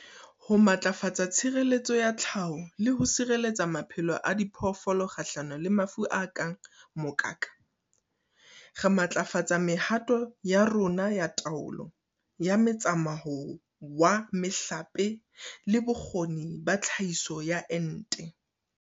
Ho matlafatsa tshireletso ya tlhaho le ho sireletsa maphelo a diphoofolo kgahlano le mafu a kang mokaka, re matlafatsa mehato ya rona ya taolo ya metsamao wa mehlape le bokgoni ba tlhahiso ya ente.